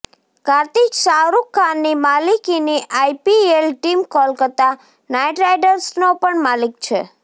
કાર્તિક શાહરૂખ ખાનની માલિકીની IPL team Kolkata નાઇટરાઇડર્સનો પણ માલિક છે